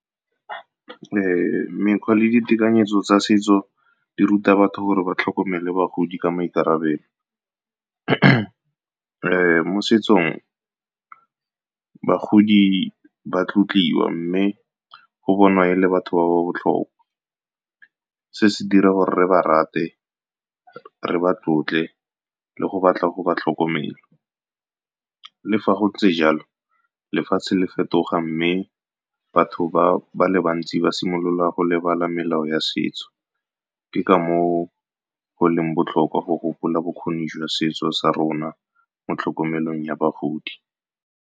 Mekgwa le ditekanyetso tsa setso di ruta batho gore ba tlhokomele bagodi ka maikarabelo. Mo setsong, bagodi ba tlotliwa mme go bonwa e le batho ba ba botlhokwa. Se se dira gore re ba rate, re ba tlotle, le go batla go ba tlhokomela. Le fa go ntse jalo, lefatshe le fetoga mme batho ba ba le bantsi ba simolola go lebala melao ya setso. Ke ka mo o go leng botlhokwa go gopola bokgoni jwa setso sa rona mo tlhokomelong ya bagodi.